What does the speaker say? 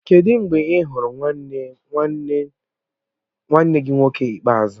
Kedụ mgbe ị hụrụ nwanne gị nwoke ikpeazụ?